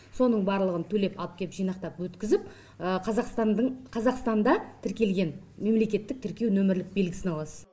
соның барлығын төлеп алып кеп жинақтап өткізіп қазақстанда тіркелген мемлекеттік тіркеу нөмірлік белгісін аласыз